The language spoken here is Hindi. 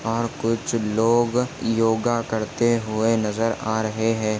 और कुछ लोग योगा करते हुए नजर आ रहे है।